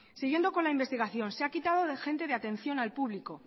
siguiendo con la investigación se ha quitado de gente de atención al público